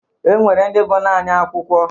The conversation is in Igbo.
E nwere ndị bụ naanị akwụkwọ